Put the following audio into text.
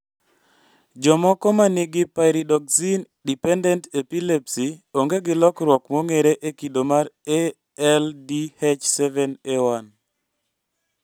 Jomoko manigi pyridoxine dependent epilepsy onge gi lokruok mong'ere e kido mar ALDH7A1